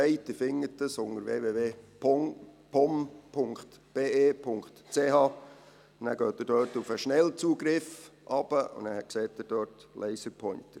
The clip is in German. Sie finden es unter www.pom.be.ch. Gehen Sie runter zum Schnellzugriff, dort sehen Sie «Laserpointer».